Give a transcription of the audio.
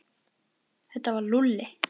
Þetta var Lúlli.